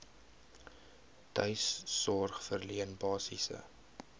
tuissorg verleen basiese